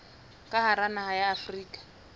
ka hara naha ya afrika